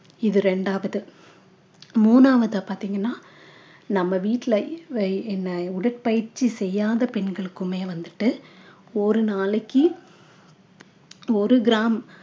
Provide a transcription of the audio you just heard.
இது ரெண்டாவது மூனாவது பார்த்திங்கன்னா நம்ம வீட்ல வழி~ என்ன உடற்பயிற்சி செய்யாத பெண்களுக்குமே வந்துட்டு ஒரு நாளைக்கு ஒரு gram